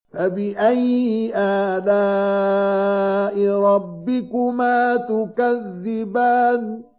فَبِأَيِّ آلَاءِ رَبِّكُمَا تُكَذِّبَانِ